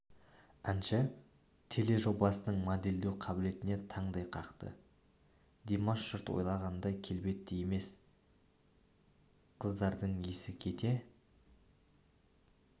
әнші теле жобасының модельдеу қабілетіне таңдай қақты димаш жұрт ойлағандай келбетті емес қыздардың есі кете